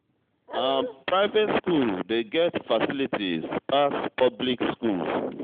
Private skool dey get facilities pass public skool.